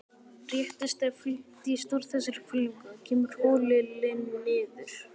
Réttist eða fletjist úr þessari hvelfingu, kemur holilin niður.